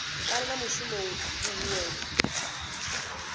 fana na mushumo na huhuwedzo